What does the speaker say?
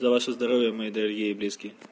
за ваше здоровье мои дорогие